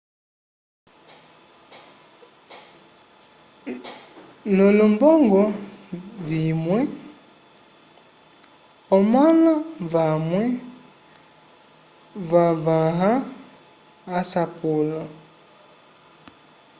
l'olombongo vimwe omãla vamwe vavãha asapulo